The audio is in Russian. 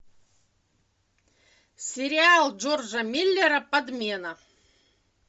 сериал джорджа миллера подмена